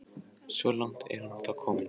Svo langt er hún þó komin.